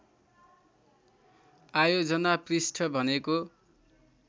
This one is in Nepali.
आयोजना पृष्ठ भनेको